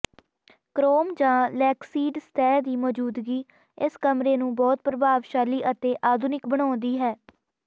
chrome ਜਾਂ ਲੈਕਸੀਡ ਸਤਹ ਦੀ ਮੌਜੂਦਗੀ ਇਸ ਕਮਰੇ ਨੂੰ ਬਹੁਤ ਪ੍ਰਭਾਵਸ਼ਾਲੀ ਅਤੇ ਆਧੁਨਿਕ ਬਣਾਉਂਦੀ ਹੈ